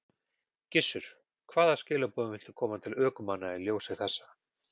Gissur: Hvaða skilaboðum viltu koma til ökumanna í ljósi þessa?